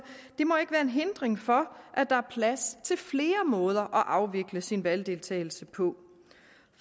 må ikke være en hindring for at der er plads til flere måder at afvikle sin valgdeltagelse på